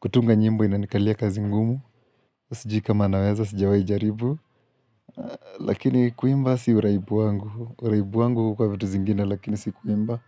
kutunga nyimbo inanikalia kazi ngumu. Sijiu kama naweza, sijawahi jaribu. Lakini kuimba si uraibu wangu. Uraibu wangu huwa vitu zingine, lakini si kuimba.